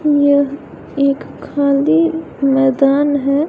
यह एक खाली मैदान है।